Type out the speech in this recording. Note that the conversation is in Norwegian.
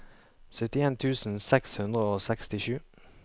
syttien tusen seks hundre og sekstisju